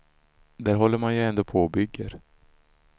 Där håller man ju ändå på och bygger.